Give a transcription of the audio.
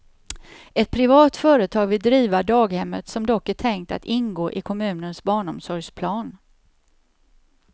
Ett privat företag vill driva daghemmet som dock är tänkt att ingå i kommunens barnomsorgsplan.